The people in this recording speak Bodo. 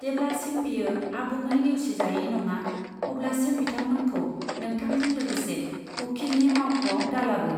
जेब्लासिम बेयो आबुङै नेवसिजायै नङा, अब्लासिम बिथांमोनखौ नोंथांजों लोगोसे उखिलनि मावख'आव दालाबो।